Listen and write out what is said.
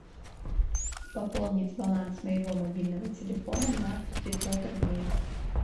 пополнить баланс моего мобильного телефона на пятьсот рублей